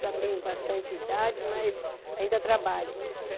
Já tenho bastante idade, mas ainda trabalho.